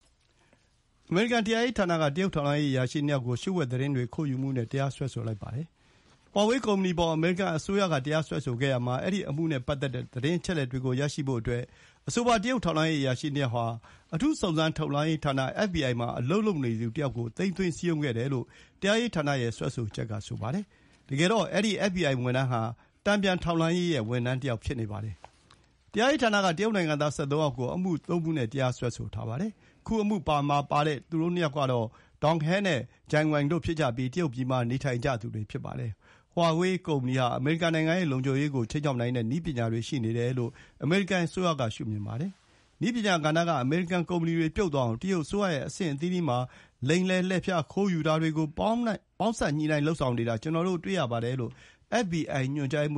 အမေရိကန်တရားရေးဌာနက တရုတ်ထောက်လှမ်းရေးအရာရှိနှစ်ယောက်ကို လျှို့ဝှက်သတင်းတွေ ခိုးယူမှု နဲ့ တရားစွဲဆိုလိုက်ပါတယ်။ ဟွာဝေးကုမ္ပဏီအပေါ် အမေရိကန်အစိုးရက တရားစွဲဆိုခဲ့ရာမှာ အဲဒီအမှုနဲ့ ပတ်သက်တဲ့ သတင်းအချက်အလက်တွေကို ရရှိဖို့အတွက် အဆိုပါ တရုတ်ထောက်လှမ်းရေးအရာရှိ နှစ်ယောက်ဟာ အထူးစုံစမ်းထောက်လှမ်းရေးဌာန အက်ဘ်ဘီအိုင်မှာ အလုပ်လုပ်နေသူတယောက်ကို သိမ်းသွင်း စည်းရုံးခဲ့တယ်လို့ တရားရေးဌာနရဲ့ စွဲဆိုချက်က ဆိုပါတယ်။ တကယ်တော့ အဲဒီ အက်ဖ်ဘီအိုင် ဝန်ထမ်းဟာ တန်ပြန်ထောက်လှမ်းရေး ဝန်ထမ်းတယောက် ဖြစ်နေပါတယ်။ တရားရေးဌာနက တရုတ်နိုင်ငံသား ၁၃ ယောက်ကို အမှုသုံးမှုခွဲ တရားစွဲဆိုထားပါတယ်။ ခုအမှုမှာပါဝင်သူနှစ်ယောက်က Dong He နဲ့ Zheng Wang တို့ ဖြစ်ကြပြီး တရုတ်ပြည်မှာ နေထိုင်ကြသူတွေ ဖြစ်ပါတယ်။ ဟွာဝေးကုမ္ပဏီဟာ အမေရိကန်နိုင်ငံရဲ့ လုံခြုံရေးကိုခြိမ်းခြောက်နိုင်တဲ့ နည်းပညာတွေရှိတယ်လို့ အမေရိကန်အစိုးရကရှုမြင်ပါတယ်။ “နည်းပညာကဏ္ဍကအမေရိကန်ကုမ္ပဏီတွေ ပြုတ်သွားအောင် တရုတ်အစိုးရရဲ့အဆင့်အသီးသီးမှာ လိမ်လည်၊ လှည့်ဖျား၊ ခိုင်းယူတာတွေကို ပေါင်းစပ်ညှိနှိုင်းလုပ်ဆောင်နေတာ ကျနော်တို့ တွေ့ရပါတယ်” လို့ အက်ဘ်ဘီအိုင် ညွှန်ကြားရေးမ